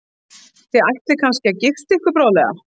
Þið ætlið svo kannski að gifta ykkur bráðlega?